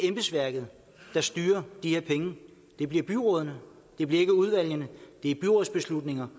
embedsværket der styrer de her penge det bliver byrådene det bliver ikke udvalgene det er byrådsbeslutninger